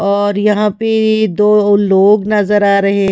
और यहां पे दो लोग नजर आ रहे--